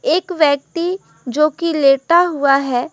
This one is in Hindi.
एक व्यक्ति जो कि लेटा हुआ है।